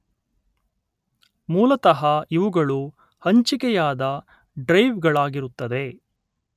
ಮೂಲತಃ ಇವುಗಳು ಹಂಚಿಕೆಯಾದ ಡ್ರೈವ್ ಗಳಾಗಿರುತ್ತದೆ